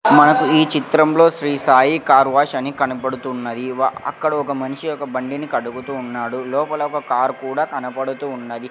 మనకు ఈ చిత్రంలో శ్రీసాయి కార్ వాష్ అని కనబడుతున్నది. వ అక్కడ ఒక మనిషి ఒక బండిని కడుగుతూ ఉన్నాడు లోపల ఒక కార్ కూడా కనబడుతూ ఉన్నది.